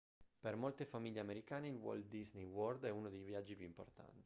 per molte famiglie americane il walt disney world è uno dei viaggi più importanti